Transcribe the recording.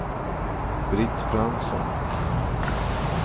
Britt Fransson